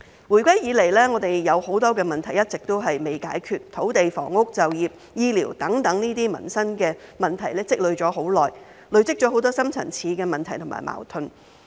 回歸以來，我們有很多問題一直都未解決，土地、房屋、就業、醫療等民生問題積累已久，累積了很多深層次的問題及矛盾。